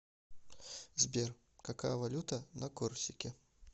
сбер какая валюта на корсике